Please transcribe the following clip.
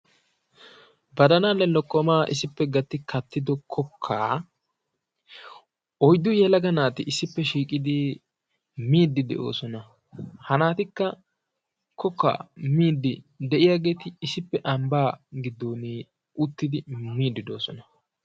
Baddalaanne lokkomaa issippe gatti kattiddo kokkaa oyddu yelaga naati issippe shiiqqidi miiddi de'oosona. Ha naatikka kokkaa miidi de'iyaageeti issippe ambbaa giddon uttidi miidi de'oosona.